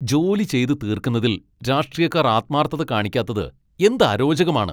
ജോലി ചെയ്ത് തീർക്കുന്നതിൽ രാഷ്ട്രീയക്കാർ ആത്മാർഥത കാണിക്കാത്തത് എന്ത് അരോചകമാണ്.